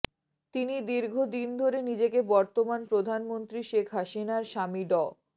তিনি দীর্ঘদিন ধরে নিজেকে বর্তমান প্রধানমন্ত্রী শেখ হাসিনার স্বামী ড